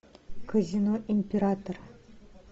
казино император